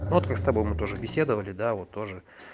ну вот мы с тобой мы тоже беседовали да вот тоже